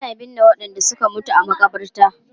Ana binne wadanda suka mutu a makabarta.